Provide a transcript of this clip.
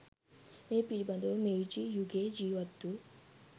මේ පිළිබඳව මෙයිජි යුගයේ ජීවත් වු